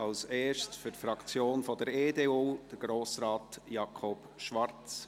Als Erstes für die Fraktion der EDU, Grossrat Jakob Schwarz.